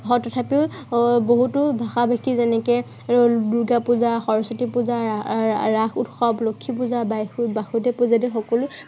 হয় তথাপিও আহ বহুতো ভাষা ভাষী যেনেকে এৰ দূৰ্গা পূজা, সৰস্বতী পূজা আহ ৰাস উৎসৱ, লক্ষী পূজা, বাইথ, বাসুদেৱ পূজা আদি সকলো ।